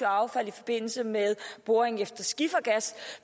affald i forbindelse med boring efter skifergas